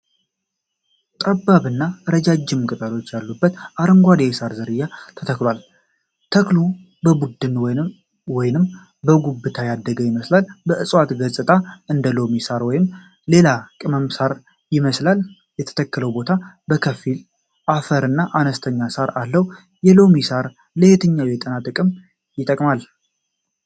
ጠባብና ረዣዥም ቅጠሎች ያሉት አረንጓዴ የሳር ዝርያ ተተክሏል። ተክሉ በቡድን ወይንም በጉብታ ያደገ ይመስላል። የእጽዋቱ ገጽታ እንደ ሎሚ ሳር ወይም ሌላ የቅመም ሳር ይመስላል። የተተከለው ቦታ በከፊል አፈርና አነስተኛ ሳር አለው። የሎሚ ሳር ለየትኞቹ የጤና ጥቅሞች ይጠቅማል?